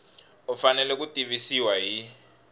u fanele ku tivisiwa hi